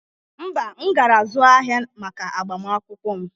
Mba, m gara zụụ ahịa maka agbamakwụkwọ m